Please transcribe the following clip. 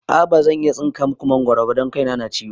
A'a bazan iya tsinka maku mangoro ba don kai na na ciwo